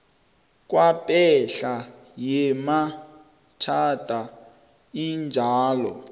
kwepahla yemitjhado enjalo